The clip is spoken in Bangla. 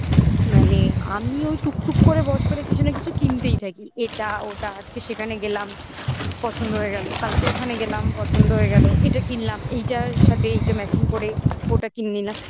মানে আমি ওই টুকটুক করে বছরে কিছু না কিছু কিনতেই থাকি এটা ওটা আজকে সেখানে গেলাম পছন্দ হয়ে গেল কালকে ওখানে গেলাম পছন্দ হয়ে গেল এটা কিনলাম এইটার সাথে এইটা matching করে ওটা কিনে নিলাম